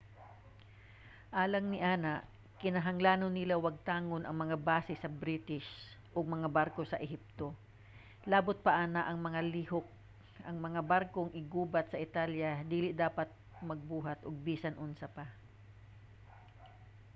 alang niana kinahanglan nila wagtangon ang mga base sa british ug mga barko sa ehipto. labot pa ana nga mga lihok ang mga barkong iggugubat sa italya dili dapat magbuhat og bisan unsa pa